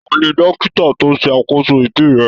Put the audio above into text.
Taní dókítà to ṣe àkóso ibí rẹ?